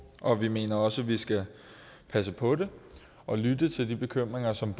og vi mener også at vi skal passe på det og lytte til de bekymringer som